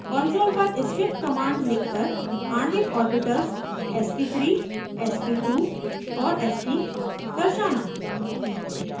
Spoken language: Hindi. कॉन्सोल पर स्क्रिप्ट कमांड्स लिखकर आणविक orbitals sp3 sp2 and sp दर्शाना